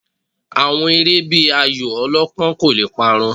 Àwọn eré bíi ayò ọlọ́pán kò le parun